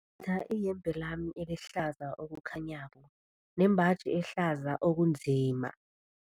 tha iyembe lami elihlaza okukhanyako nembaji ehlaza okunzima.